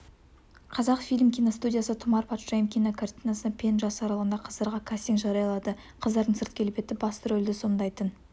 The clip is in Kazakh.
қазақфильм киностудиясы тұмар патшайым кинокартинасына пен жас аралығындағы қыздарға кастинг жариялады қыздардың сырт-келбеті басты рөлді сомдайтын